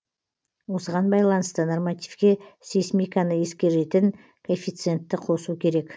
осыған байланысты нормативке сейсмиканы ескеретін коэффициентті қосу керек